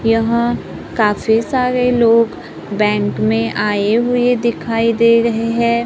यहां काफी सारे लोग बैंक में आए हुए दिखाई दे रहे हैं।